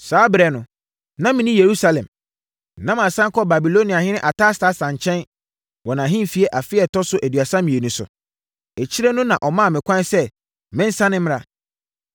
Saa ɛberɛ no, na menni Yerusalem. Na masane kɔ Babiloniahene Artasasta nkyɛn wɔ nʼahennie afe a ɛtɔ so aduasa mmienu so. Akyire no na ɔmaa me kwan sɛ mensane mmra.